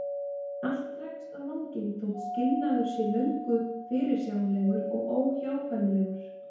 En allt dregst á langinn þótt skilnaður sé löngu fyrirsjáanlegur og óhjákvæmilegur.